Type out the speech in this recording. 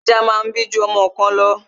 Ajá máa ń bí ju ọmọ kan lọ